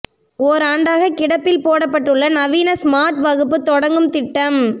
ஓராண்டாக கிடப்பில் போடப்பட்டுள்ள நவீன ஸ்மார்ட் வகுப்பு தொடங்கும் திட்டம்